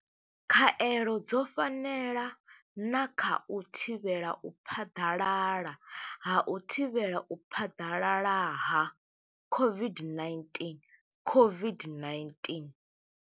Khaelo dzo fanela na kha u thivhela u phaḓalala ha u thivhela u phaḓalala ha COVID- 19, COVID-19.